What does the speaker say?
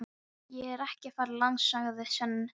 Ég er ekki að fara langt, sagði Sveinn.